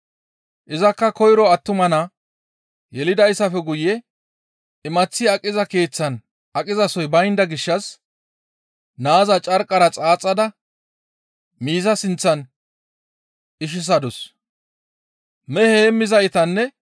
Izakka koyro attuma naa yelidayssafe guye imaththi aqiza keeththan aqizasoy baynda gishshas naaza carqqara xaaxada miiza sinththan ishisadus.